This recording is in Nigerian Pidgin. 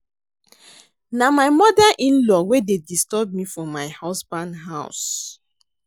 Na my mother in-law wey dey disturb me for my husband house